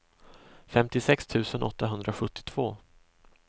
femtiosex tusen åttahundrasjuttiotvå